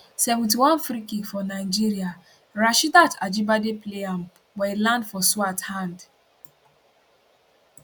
71 freekick for nigeria rasheedat ajibade play am but e land for swart hand